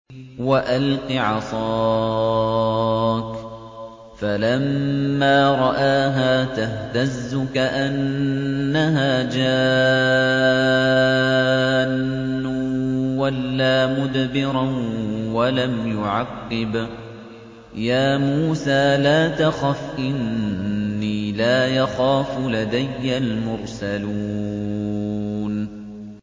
وَأَلْقِ عَصَاكَ ۚ فَلَمَّا رَآهَا تَهْتَزُّ كَأَنَّهَا جَانٌّ وَلَّىٰ مُدْبِرًا وَلَمْ يُعَقِّبْ ۚ يَا مُوسَىٰ لَا تَخَفْ إِنِّي لَا يَخَافُ لَدَيَّ الْمُرْسَلُونَ